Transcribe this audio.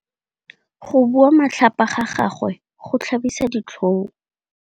Go bua matlhapa ga gagwe go tlhabisa ditlhong.